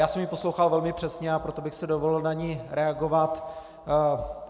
Já jsem ji poslouchal velmi přesně, a proto bych si dovolil na ni reagovat.